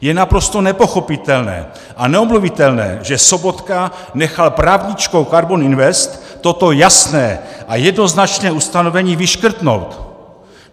Je naprosto nepochopitelné a neomluvitelné, že Sobotka nechal právničkou KARBON INVEST toto jasné a jednoznačné ustanovení vyškrtnout.